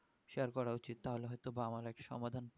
share করা উচিত তাহলে হয় তো বা একটা সমাধান